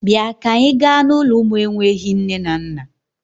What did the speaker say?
Bịa ka anyị gaa n'ụlọ ụmụ enweghi nne na nna!